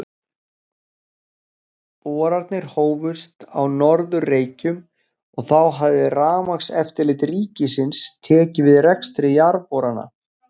Boranir hófust á Norður-Reykjum, en þá hafði Rafmagnseftirlit ríkisins tekið við rekstri jarðborana.